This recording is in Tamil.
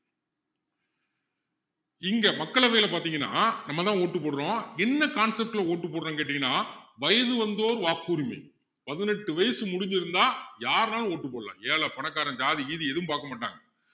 இங்க மக்களவையில பாத்தீங்கன்னா நம்ம தான் vote போடுறோம் என்ன concept ல vote போடுறோம்னு கேட்டீங்கன்னா வயது வந்தோர் வாக்குரிமை பதினெட்டு வயசு முடிஞ்சிருந்தா யாருன்னாலும் vote போடலாம் ஏழை பணக்காரன் ஜாதி கீதி எதுவும் பார்க்கமாட்டாங்க